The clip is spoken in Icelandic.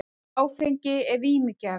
Áfengi er vímugjafi.